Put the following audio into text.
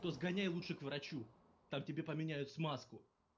то сгоняй лучше к врачу там тебе поменяют смазку